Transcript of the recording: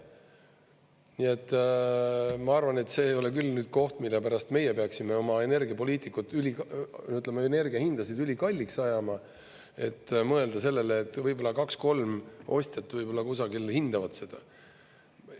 Nii et, ma arvan, et see ei ole küll nüüd koht, mille pärast meie peaksime oma energiapoliitikat, ütleme, energiahindasid ülikalliks ajama, et mõelda sellele, et võib-olla kaks–kolm ostjat võib-olla kusagil hindavad seda.